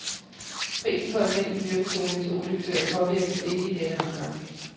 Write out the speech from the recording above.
Prisen på almindelig fyringsolie til oliefyr påvirkes ikke i denne omgang.